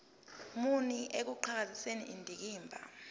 muni ekuqhakambiseni indikimba